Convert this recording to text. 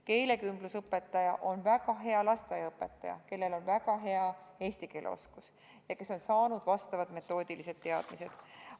Keelekümblusõpetaja on väga hea lasteaiaõpetaja, kellel on väga hea eesti keele oskus ja kes on saanud vastavad metoodikateadmised.